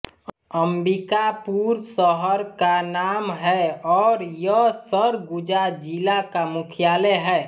अम्बिकापुर शहर का नाम है और यह सरगुजा जिला का मुख्यालय है